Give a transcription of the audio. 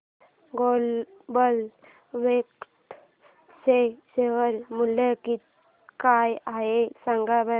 आज global Vectra चे share मूल्य काय आहे सांगा बरं